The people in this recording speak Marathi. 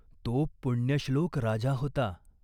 तो पुण्यश्लोक राजा होता.